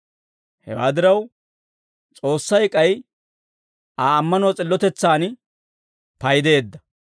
Hewaa diraw, S'oossay k'ay Aa ammanuwaa s'illotetsaan paydeedda.